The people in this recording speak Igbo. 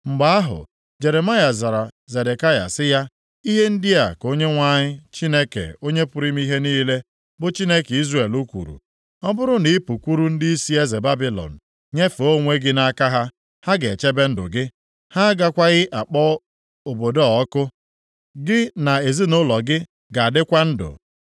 Mgbe ahụ, Jeremaya zara Zedekaya sị ya, “Ihe ndị a ka Onyenwe anyị Chineke Onye pụrụ ime ihe niile, bụ Chineke Izrel kwuru, ‘Ọ bụrụ na ị pụkwuru ndịisi eze Babilọn nyefee onwe gị nʼaka ha, ha ga-echebe gị ndụ, ha agakwaghị akpọ obodo a ọkụ. Gị na ezinaụlọ gị ga-adịkwa ndụ.